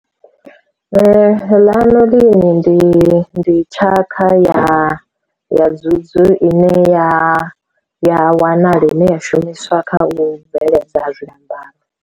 Lanolin ndi ndi tshaka ya ya dzudzu i ne ya ya wanala ine ya shumiswa kha u bveledza zwiambaro.